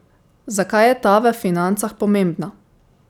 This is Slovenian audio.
Zakaj je ta v financah pomembna?